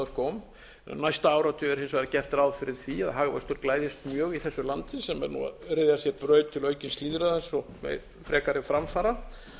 skóm næsta áratug er hins vegar gert ráð fyrir því að hagvöxtur glæðist mjög í þessu landi sem er nú að ryðja sér braut til aukins lýðræðis og frekari framfara